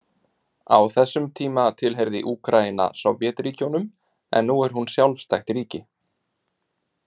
Á þessum tíma tilheyrði Úkraína Sovétríkjunum en nú er hún sjálfstætt ríki.